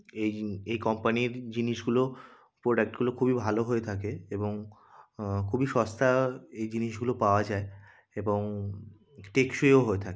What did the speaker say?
এই জি-- এই কোম্পানির জিনিসগুলো প্রোডাক্ট গুলো খুবই ভালো হয়ে থাকে এবং খুবই সস্তা-আ এই জিনিসগুলো পাওয়া যায় এবং টেকসইও হয়ে থাক--